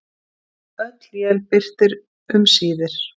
Öll él birtir um síðir.